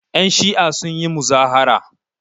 Yanshi'a sun yi muzahara.